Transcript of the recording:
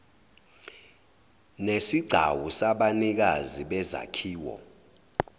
nesigcawu sabanikazi bezakhiwo